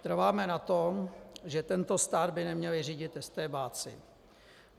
Trváme na tom, že tento stát by neměli řídit estébáci.